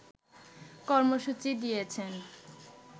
কর্মসূচি দিয়েছেন